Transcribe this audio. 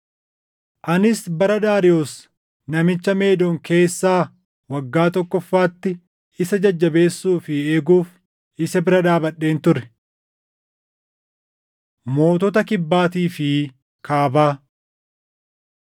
Anis bara Daariyoos namicha Meedon keessaa waggaa tokkoffaatti isa jajjabeessuu fi eeguuf isa bira dhaabadheen ture. Mootota Kibbaatii fi Kaabaa